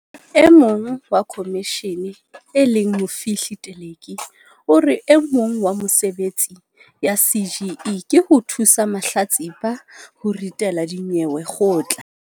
E mong wa khomishene e leng Mofihli Teleki o re e mong wa mesebetsi ya CGE ke ho thusa mahlatsipa ho ritela dinyewe kgotla.